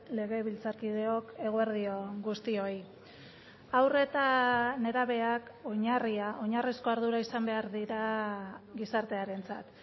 legebiltzarkideok eguerdion guztioi haur eta nerabeak oinarria oinarrizko ardura izan behar dira gizartearentzat